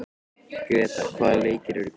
Gretar, hvaða leikir eru í kvöld?